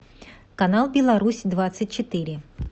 канал беларусь двадцать четыре